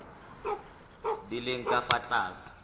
di leng ka fa tlase